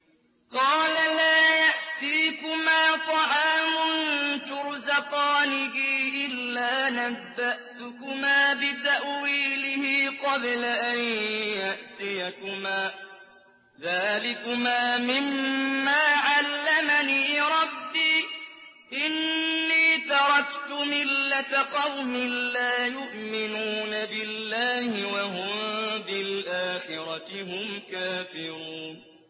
قَالَ لَا يَأْتِيكُمَا طَعَامٌ تُرْزَقَانِهِ إِلَّا نَبَّأْتُكُمَا بِتَأْوِيلِهِ قَبْلَ أَن يَأْتِيَكُمَا ۚ ذَٰلِكُمَا مِمَّا عَلَّمَنِي رَبِّي ۚ إِنِّي تَرَكْتُ مِلَّةَ قَوْمٍ لَّا يُؤْمِنُونَ بِاللَّهِ وَهُم بِالْآخِرَةِ هُمْ كَافِرُونَ